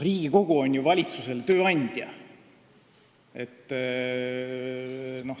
Riigikogu on ju valitsuse tööandja.